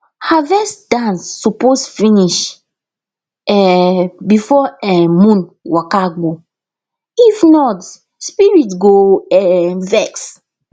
harvest dance suppose finish um before um moon waka go if not spirit go um vex